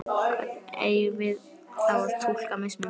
Hvernig eigum við þá að túlka mismun?